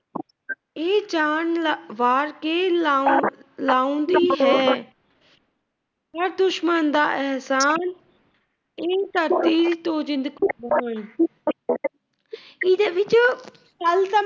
ਇਹ ਜਾਨ ਵਾਰ ਕੇ ਦੁਸ਼ਮਣ ਦਾ ਅਹਿਸਾਨ, ਇਹ ਧਰਤੀ ਤੋਂ ਜਿੰਦ ਕੁਰਬਾਨ।